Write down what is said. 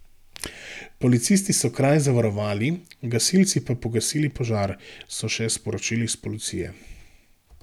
Policisti so kraj zavarovali, gasilci pa pogasili požar, so še sporočili s policije.